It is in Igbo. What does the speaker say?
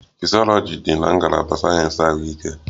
Fisyọlọji dị na ngalaba sayensị ahụike